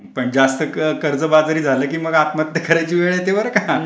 पण जास्त कर्जबाजारी झाले की मग आत्महत्या करायची वेळ येते बर का.